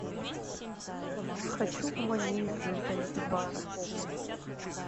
хочу в манису из занзибара